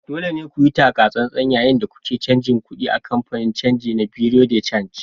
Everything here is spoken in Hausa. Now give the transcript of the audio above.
Dole ne ku yi taka tsantsan yayin da kuke canja kuɗi a kamfanin canji na Bureau de change